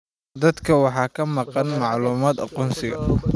Dadka waxaa ka maqan macluumaadka aqoonsiga.